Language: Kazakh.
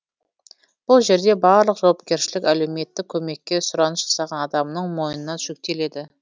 бұл жерде барлық жауапкершілік әлеуметтік көмекке сұраныс жасаған адамның мойнына жүктеледі